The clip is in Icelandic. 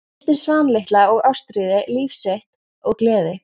Missti Svan litla og Ástríði, líf sitt og gleði.